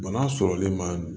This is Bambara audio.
Bana sɔrɔli ma